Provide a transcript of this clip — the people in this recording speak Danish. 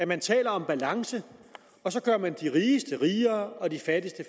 man taler om balance og så gør man de rigeste rigere og de fattigste